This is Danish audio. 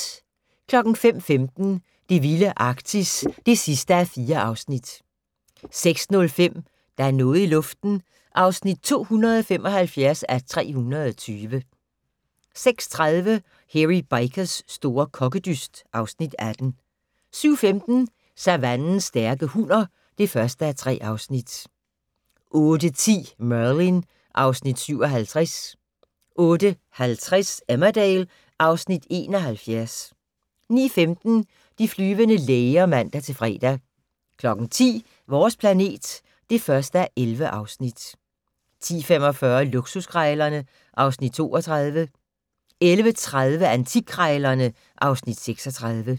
05:15: Det vilde Arktis (4:4) 06:05: Der er noget i luften (275:320) 06:30: Hairy Bikers' store kokkedyst (Afs. 18) 07:15: Savannens stærke hunner (1:3) 08:10: Merlin (Afs. 57) 08:50: Emmerdale (Afs. 71) 09:15: De flyvende læger (man-fre) 10:00: Vores planet (1:11) 10:45: Luksuskrejlerne (Afs. 32) 11:30: Antikkrejlerne (Afs. 36)